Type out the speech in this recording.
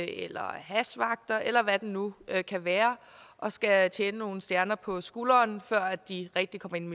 eller hashvagter eller hvad det nu kan kan være og skal tjene nogle stjerner på skulderen før de rigtig kommer ind